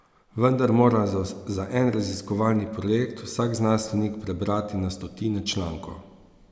Vendar mora za en raziskovalni projekt vsak znanstvenik prebrati na stotine člankov.